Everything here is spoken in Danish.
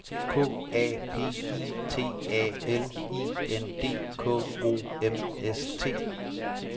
K A P I T A L I N D K O M S T